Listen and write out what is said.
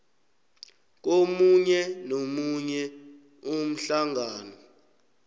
komunye nomunye umhlangano